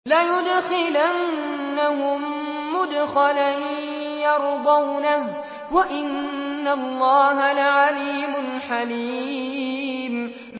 لَيُدْخِلَنَّهُم مُّدْخَلًا يَرْضَوْنَهُ ۗ وَإِنَّ اللَّهَ لَعَلِيمٌ حَلِيمٌ